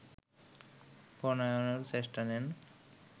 প্রণয়নেরও চেষ্টা নেন